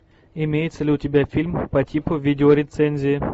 имеется ли у тебя фильм по типу видео рецензии